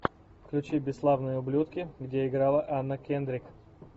включи бесславные ублюдки где играла анна кендрик